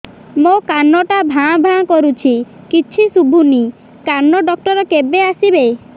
ମୋ କାନ ଟା ଭାଁ ଭାଁ କରୁଛି କିଛି ଶୁଭୁନି କାନ ଡକ୍ଟର କେବେ ଆସିବେ